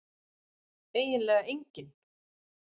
eiginlega enginn